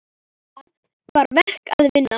Það var verk að vinna.